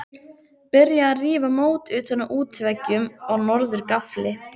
Byrjað að rífa mót utan af útveggjum á norður gafli.